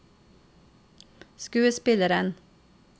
skuespilleren